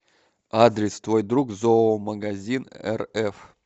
адрес твой друг зоомагазинрф